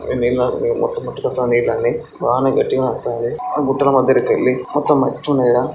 ఈ నీళ్ల మొత్తం కొట్టుకుతాంది నీళ్లన్నీ వాన గట్టిగానే అత్తాంది ఆ గుట్టల మధ్యలో కెళ్ళి మొత్తం మట్టున్నది ఈడ.